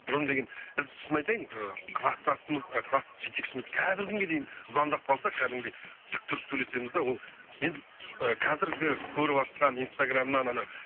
бұрын деген біз шынын айтайын ыыы кластасымыз ы класс жетекшіміз қазіргі күнге дейін звондап қалса кәдімгідей тік тұрып сөйлесеміз де ол мен қазіргі көріватқан инстаграмнан анау